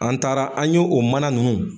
An taara an yo o mana ninnu